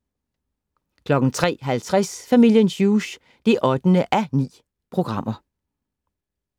03:50: Familien Hughes (8:9)